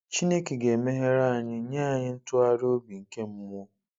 Chineke ga-emeghere anyị, nye anyị ntụgharị obi nke mmụọ.